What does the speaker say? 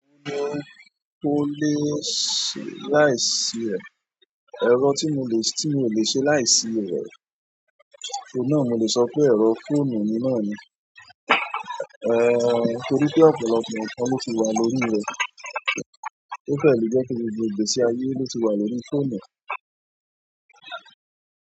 Tole se láìsí rẹ, ẹ̀rọ tí mio lè ṣe láìṣe e, oun na ni mole sope ẹ̀rọ phone mi torí pé ọ̀pọ̀lọpọ̀ ǹkan loti wà lórí rẹ̀. Ó fẹ́ lè jẹ́ pé gbogbo ìgbésí, ló ti wà lórí fóònù.